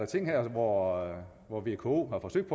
ting her hvor hvor vko har forsøgt